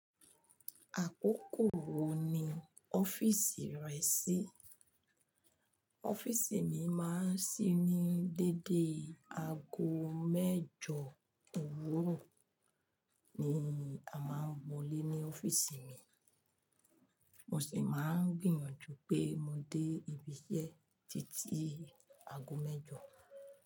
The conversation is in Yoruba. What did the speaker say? Àkókò wo ni ọ́fíìsì rẹ ṣí? Ọ́fíìsì mi máa ń ṣí ní dédé aago mẹ́jọ òwúrọ̀ ni a máa ń wọlé ní ọ́fíìsì mi, mo sì máa ń gbìyànjú pé mo dé ibi iṣẹ́ títí aago mẹ́jọ.